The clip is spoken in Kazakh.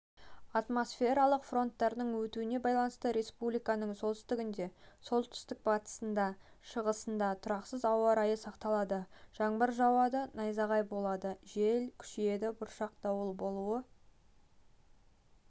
атмосфералық фронттардың өтуіне байланысты республиканың солтүстігінде солтүстік-батысында шығысында тұрақсыз ауа райы сақталады жаңбыр жауады найзағай болады жел күшейеді бұршақ дауыл болуы